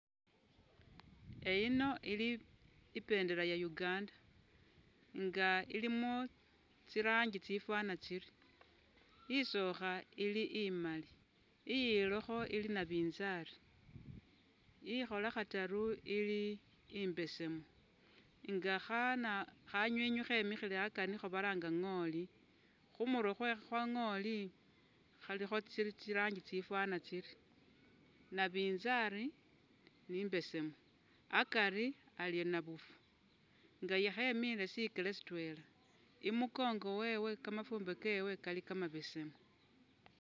Eyino ili i bendera ya Uganda inga ilimo tsi rangi tsifana tsiri, isookha ili imali, iyilokho ili nabinzali, ikhola khataru ili imbesemu, nga khana- kha nywinywi khemikhile akari nikho balanga nghooli khumurwe khwa nghooli kha likho tsi rangi tsifana tsiri, nabinzali ni imbesemu akari ali nabufu nga khe miile shikele si twela i mukongo wewe kamafumbe kewe kali kamabesemu.